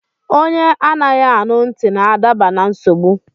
Onye anaghị anụ ntị n'adaba na nsogbụ